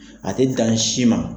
A tɛ dan ni si ma.